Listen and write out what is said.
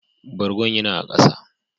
Bargon ya na a kasa.